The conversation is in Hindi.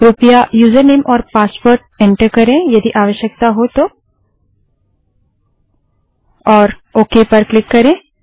कृपया यूजरनेम और पासवर्ड एंटर करें यदि आवश्यकता हो तो और ओके पर क्लिक करें